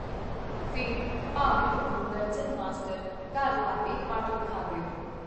ਫੇਰ, ਭਾਵੇਂ ਉਹਨੂੰ ਦਰਜਨ ਮਾਸਟਰ ਘਰ ਲਾ ਕੇ ਪੜ੍ਹ-ਲਿਖਾ ਦਿਓਈਂ.